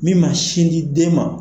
Min ma sin di den ma